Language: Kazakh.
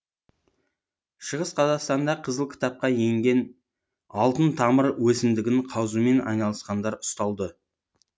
шығыс қазақстанда қызыл кітапқа еңген алтын тамыр өсімдігін қазумен айналысқандар ұсталды